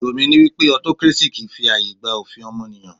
Èrò mí ní wípé autocracy kìí fi ààyè gba òfin ọmọnìyàn.